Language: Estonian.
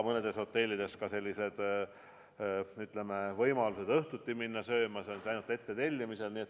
Mõnedes hotellides on võimalus õhtuti sööma minna ainult ettetellimisel.